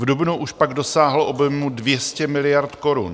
V dubnu už pak dosáhl objemu 200 miliard korun.